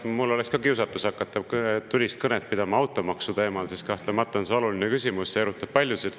No eks mul on ka kiusatus hakata pidama tulist kõnet automaksu teemal, sest kahtlemata on see oluline küsimus ja erutab paljusid.